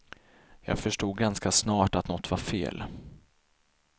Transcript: Jag förstod ganska snart att något var fel.